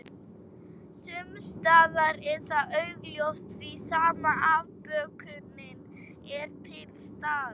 Sumsstaðar er það augljóst því sama afbökunin er til staðar.